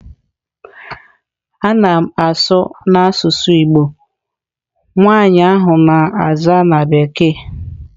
A na m asụ n'asusu Igbo, nwanyi ahu na-aza na bekee.